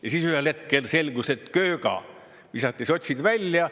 Ja siis ühel hetkel selgus, et kööga, visati sotsid välja.